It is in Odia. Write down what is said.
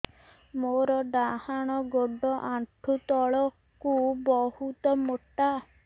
ମୋର ଡାହାଣ ଗୋଡ ଆଣ୍ଠୁ ତଳୁକୁ ବହୁତ ମୋଟା